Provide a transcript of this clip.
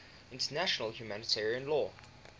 international humanitarian law